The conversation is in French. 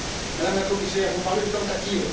Madame la Commissaire, vous parlez de tentative.